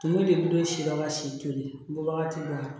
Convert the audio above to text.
Tumu de don si yɔrɔ ka si toli bɔ wagati dɔ la